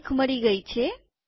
તારીખ મળી ગઈ છે